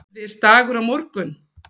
Erfiðisdagur á morgun.